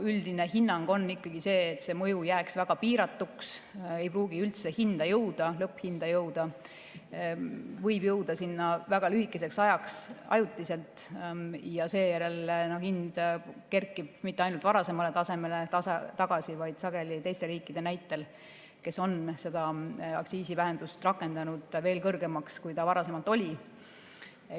Üldine hinnang on ikkagi see, et see mõju jääks väga piiratuks, ei pruugiks lõpphinda üldse jõuda või jõuaks sinna väga lühikeseks ajaks, ajutiselt ja seejärel kerkiks hind mitte ainult varasemale tasemele tagasi, vaid sageli, teiste riikide näitel, kes on seda aktsiisivähendust rakendanud, veel kõrgemaks, kui ta varem oli.